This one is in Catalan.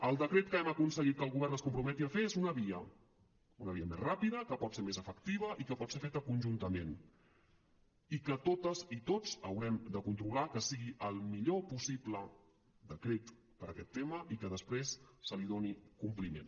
el decret que hem aconseguit que el govern es comprometi a fer és una via una via més ràpida que pot ser més efectiva i que pot ser feta conjuntament i totes i tots haurem de controlar que sigui el millor possible decret per a aquest tema i que després s’hi doni compliment